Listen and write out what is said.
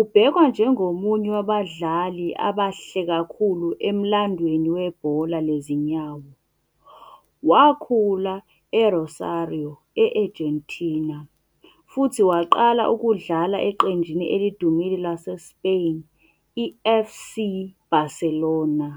ubhekwa njengomunye wabadlali abahle kakhulu emlandweni webhola lezinyawo. Wakhula eRosario, e-Argentina, futhi waqala ukudlala eqenjini elidumile laseSpain i-FC Barcelona.